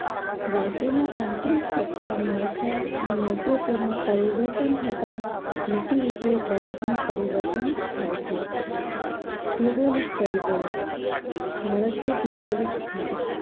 રાષ્ટ્રના અંતરીસત્તા માળખા અને નેતૃત્વમાં પરિવર્તન થતાં નીતિવિષયક બાબતમાં પરિવર્તન થાય છે ભૌગોલિક પરિબળો ભારતનું ભૌગોલિક સ્થાન